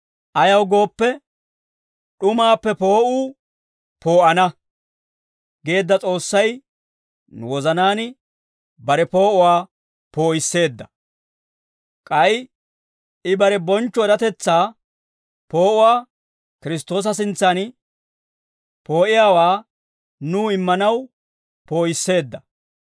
Ayaw gooppe, «D'umaappe poo'uu poo'ana» geedda S'oossay nu wozanaan bare poo'uwaa poo'isseedda; k'ay I bare bonchcho eratetsaa poo'uwaa Kiristtoosa sintsan poo'iyaawaa nuw immanaw poo'isseedda.